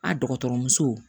A dɔgɔtɔrɔmuso